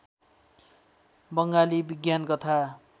बङ्गाली विज्ञान कथा